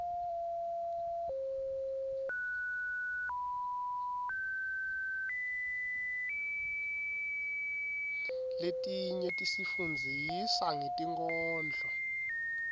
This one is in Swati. letinye tisifundzisa ngetinkhondlo